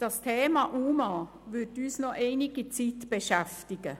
Das Thema UMA wird uns noch einige Zeit beschäftigen.